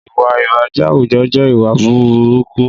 Ìwà ìbàjẹ́ àwùjọ jẹ́ ìwà burúkú